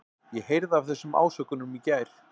Ég heyrði af þessum ásökunum í gær.